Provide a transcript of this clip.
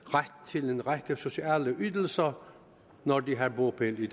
ret til en række sociale ydelser når de har bopæl i